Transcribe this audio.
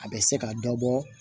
A bɛ se ka dɔ bɔ